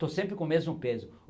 Estou sempre com o mesmo peso.